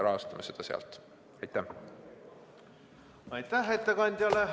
Aitäh ettekandjale!